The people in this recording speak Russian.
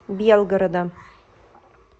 белгорода